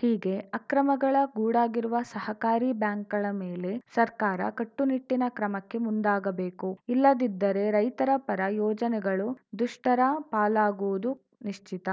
ಹೀಗೆ ಆಕ್ರಮಗಳ ಗೂಡಾಗಿರುವ ಸಹಕಾರಿ ಬ್ಯಾಂಕ್‌ಗಳ ಮೇಲೆ ಸರ್ಕಾರ ಕಟ್ಟುನಿಟ್ಟಿನ ಕ್ರಮಕ್ಕೆ ಮುಂದಾಗಬೇಕು ಇಲ್ಲದಿದ್ದರೇ ರೈತರ ಪರ ಯೋಜನೆಗಳು ದುಷ್ಟರ ಪಾಲಾಗುವುದು ನಿಶ್ಚಿತ